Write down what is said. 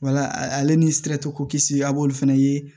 Wala ale ni siratɛ ko kisi a b'olu fana ye